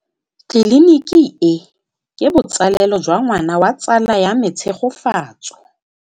Tleliniki e, ke botsalêlô jwa ngwana wa tsala ya me Tshegofatso.